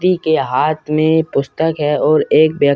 व्यक्ति के हाथ में पुस्तक है और एक वेक --